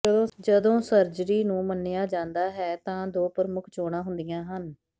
ਜਦੋਂ ਸਰਜਰੀ ਨੂੰ ਮੰਨਿਆ ਜਾਂਦਾ ਹੈ ਤਾਂ ਦੋ ਪ੍ਰਮੁੱਖ ਚੋਣਾਂ ਹੁੰਦੀਆਂ ਹਨ